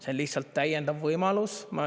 See on lihtsalt täiendav võimalus.